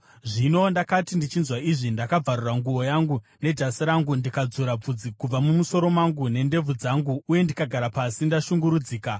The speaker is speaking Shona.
Zvino ndakati ndichinzwa izvi, ndakabvarura nguo yangu nejasi rangu, ndikadzura bvudzi kubva mumusoro mangu nendebvu dzangu uye ndikagara pasi ndashungurudzika.